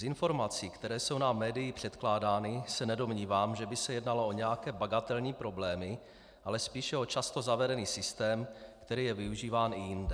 Z informací, které jsou nám médii předkládány, se nedomnívám, že by se jednalo o nějaké bagatelní problémy, ale spíše o často zavedený systém, který je využíván i jinde.